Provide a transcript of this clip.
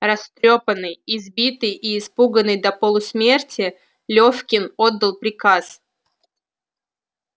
растрёпанный избитый и испуганный до полусмерти лёфкин отдал приказ